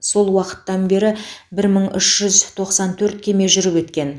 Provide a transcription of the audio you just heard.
сол уақыттан бері бір мың үш жүз тоқсан төрт кеме жүріп өткен